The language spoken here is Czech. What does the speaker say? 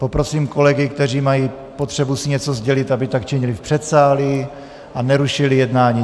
Poprosím kolegy, kteří mají potřebu si něco sdělit, aby tak činili v předsálí a nerušili jednání.